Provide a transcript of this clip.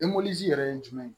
yɛrɛ ye jumɛn ye